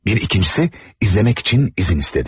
Bir ikincisi izlemek için izin istedi.